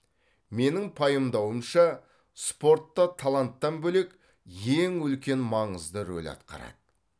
менің пайымдауымша спорт та таланттан бөлек ең үлкен маңызды рөл атқарады